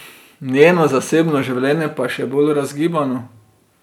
Njeno zasebno življenje pa je še bolj razgibano.